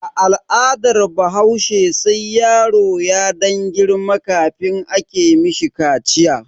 A al'adar bahaushe sai yaro ya dan girma kafin ake mishi kaciya.